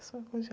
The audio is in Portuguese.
Eu sou